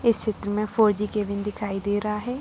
इस चित्र में फोर_जी केबिन दिखाई दे रहा है।